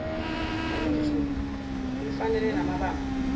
olunzulu olufanele namabamba